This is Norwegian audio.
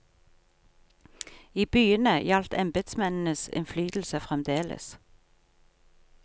I byene gjaldt embedsmennenes innflytelse fremdeles.